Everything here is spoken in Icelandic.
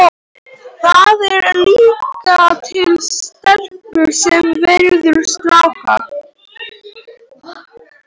Það eru líka til stelpur sem veiða stráka.